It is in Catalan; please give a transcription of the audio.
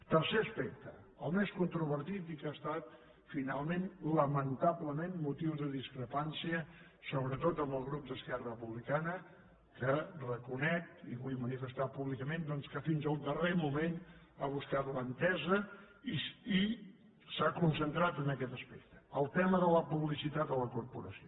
tercer aspecte el més controvertit i que ha estat finalment lamentablement motiu de discrepància sobretot amb el grup d’esquerra republicana que reconec i ho vull manifestar públicament doncs que fins al darrer moment ha buscat l’entesa i s’ha concentrat en aquest aspecte el tema de la publicitat a la corporació